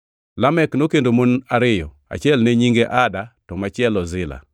Lamek nokendo mon ariyo, achiel ne nyinge Ada to machielo Zila.